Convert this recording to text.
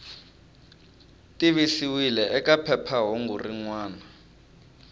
tivisiwile eka phephahungu rin wana